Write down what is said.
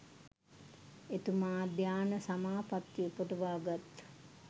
එතුමා ධ්‍යාන සමාපත්ති උපදවා ගත්